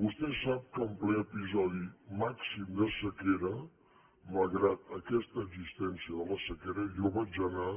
vostè sap que en ple episodi màxim de sequera malgrat aquesta existència de la sequera jo vaig anar